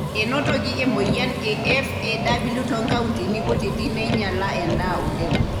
Enotoki emoyian e (FAW) too nkauntini kutiti neinyiala endaa oleng.